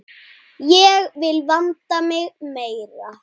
Ég vil vanda mig meira.